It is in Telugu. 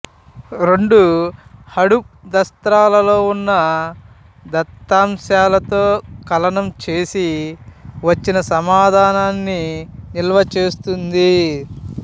రెండు హడూప్ దస్త్రాలలో ఉన్న దత్తాంశాలతో కలనం చేసి వచ్చిన సమాధానాన్ని నిల్వ చేస్తుంది